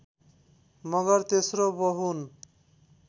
मगर तेस्रो बहुन